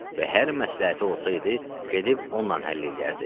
Və hər məsləhəti olsaydı, gedib onunla həll eləyərdi.